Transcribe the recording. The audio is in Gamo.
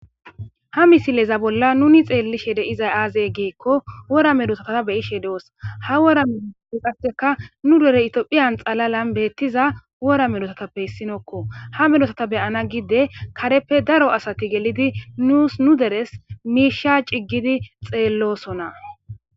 Ha misileza bolla nuni xeellishe deizay aazey geekko wora medosataa beyishe doos ha wora medoppe qasseka nu dere itophiyan xalalan beettiza wora melosatappe hissinokko ha melosata beyana gide kareppe daro asati gelidi nuus nu deres miisha ciggidi xeellosona.